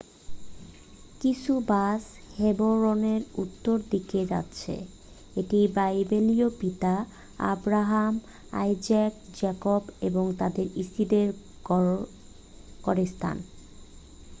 কিছু বাস হেবরনের উত্তর দিকে যাচ্ছে এটি বাইবেলীয় পিতা আব্রাহাম আইজ্যাক জ্যাকব এবং তাদের স্ত্রীদের গোরস্থান